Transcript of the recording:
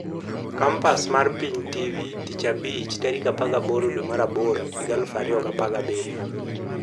Kompas mar Piny TV Tich Abich 18.08.2017